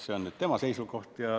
See on tema seisukoht.